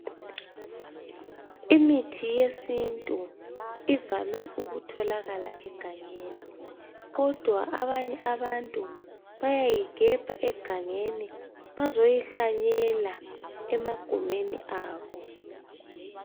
Imithi yesintu ivame ukutholakala egangeni, kodwa abanye abantu bayayigebha egangeni bazoyihlanyela emagumeni abo.